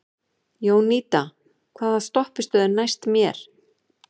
Jónída, hvaða stoppistöð er næst mér?